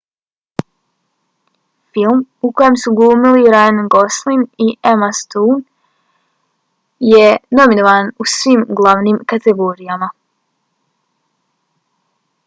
film u kojem su glumili ryan gosling i emna stone bio je nominovan u svim glavnim kategorijama